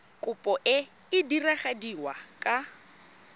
kopo e e diragadiwa ka